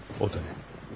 Aha, otel.